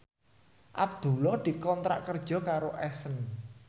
Abdullah dikontrak kerja karo Accent